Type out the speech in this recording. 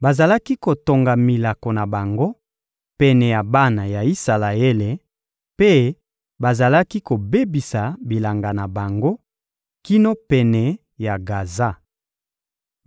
Bazalaki kotonga milako na bango pene ya bana ya Isalaele, mpe bazalaki kobebisa bilanga na bango, kino pene ya Gaza.